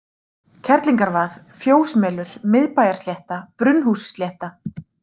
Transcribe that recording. Kerlingarvað, Fjósmelur, Miðbæjarslétta, Brunnhússlétta